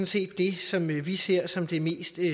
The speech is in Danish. set det som vi ser som det mest